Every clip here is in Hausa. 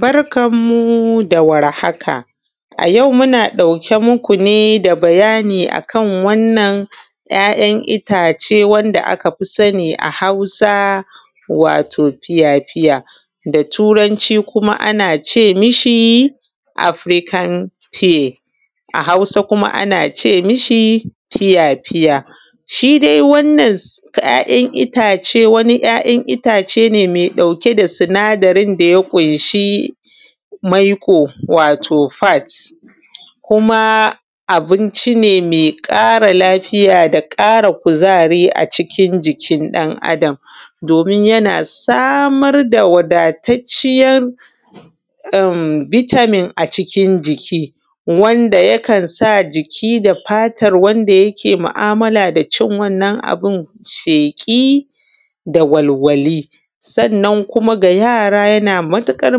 Barkanku da warhaka. A yau muna ɗauke muku ne da bayani akan wanna ‘ya’yan itace wada aka fi sani a Hausa wato fiya-fiya da Turanci kuma ana ce mi shi Afirikan tiye a Hausa kuma ana ce mi shi fiya-fya, to shi dai wannan ‘ya’yan itace wani ‘ya’yan itace ne me ɗauke da sinadarin da ya ƙunshi maiƙo wato fats ko kuma abuncine me ƙara lafiya da ƙafa kuzari a cikin jikin ɗan adam domin yana samar da wadatarciyan em bitamin a cikin jiki wanda yakan sa jiki da fatan wanda yake mu’amala da ci wannan abun sheƙi da walwali sannan kuma da yara yana matuƙar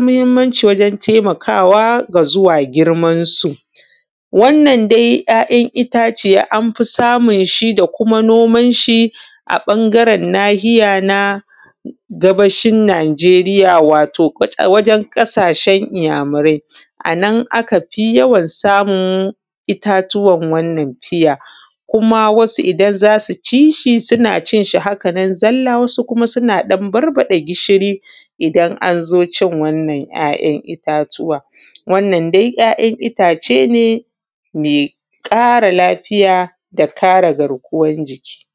mahinmanci wajen taimkawa da zuwa girmansu wannan dai yayan itace anfi samunshi da kuma nomanshi a bangaren nahiya na gabashin najeriya wato wajen ƙasashen inya murai anan akafi yawan samun itatuwan wannan bishiya kuma wasu idan zasu cishi suna cinshi haka nan zalla wasu kuma suna ɗan barbaɗa gishiri idan anzo cin wannan yayan itatuwa wannan dai yayan itacene me ƙara lafiya da kre garkuwan jiki.